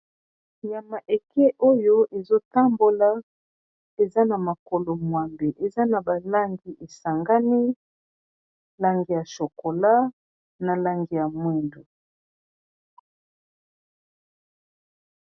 nyama oyo ezotambola eza na makolo mwambe eza na balangi esangani langi ya s Chokola na langi ya mwindo.